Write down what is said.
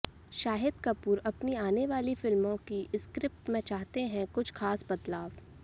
शाहिद कपूर अपनी आने वाली फिल्मों की स्क्रिप्ट में चाहते हैं कुछ ख़ास बदलाव